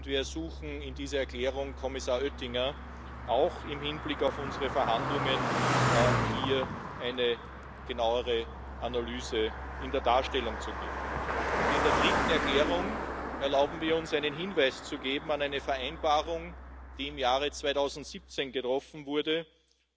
Wir sind dankbar, dass in den Verhandlungen das Vereinigte Königreich bisher unverändert seine Bereitschaft, alle Rechte und Pflichten